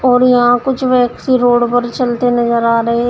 और यहां कुछ व्यक्ति रोड पर चलते नजर आ रहे--